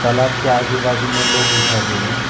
तालाब के आजु बाजु में लोग दिखाई दे रहे हैं।